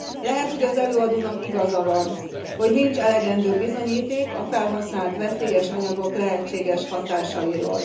Lehet, hogy az előadónak igaza van, hogy nincs elegendő bizonyíték a felhasznált veszélyes anyagok lehetséges hatásairól.